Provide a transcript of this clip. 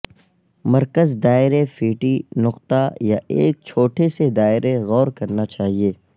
مرکز دائرے فیٹی نقطہ یا ایک چھوٹے سے دائرے غور کرنا چاہیے